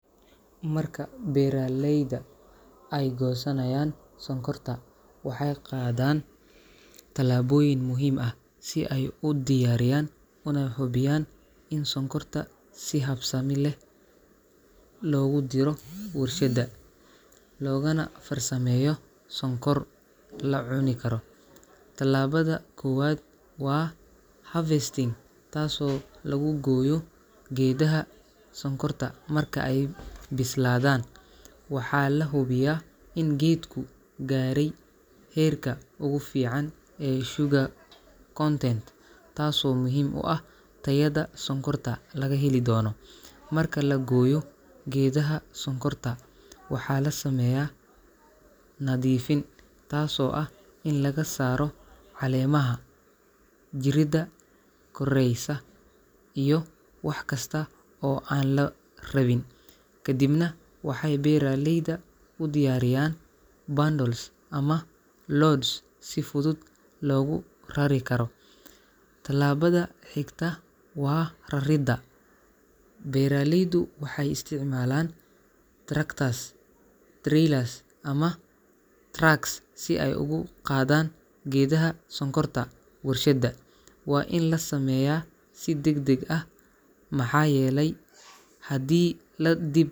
Marka beeralayda ay goosanayaan sonkorta, waxay qaadaan tallaabooyin muhiim ah si ay u diyaariyaan una hubiyaan in sonkorta si habsami leh loogu diro warshadda, loogana farsameeyo sonkor la cuni karo. Tallaabada koowaad waa harvesting, taasoo lagu gooyo geedaha sonkorta marka ay bislaadaan. Waxaa la hubiyaa in geedku gaaray heerka ugu fiican ee sugar content, taasoo muhiim u ah tayada sonkorta laga heli doono. Marka la gooyo geedaha sonkorta, waxaa la sameeyaa nadiifin, taasoo ah in laga saaro caleemaha, jirida korreysa, iyo wax kasta oo aan la rabin. Kadibna waxay beeraleyda u diyaariyaan bundles ama loads si fudud loogu rari karo. Tallaabada xigta waa raridda. Beeraleydu waxay isticmaalaan tractors, trailers, ama trucks si ay ugu qaadaan geedaha sonkorta warshadda. Waa in la sameeyaa si degdeg ah maxaa yeelay haddii la dib.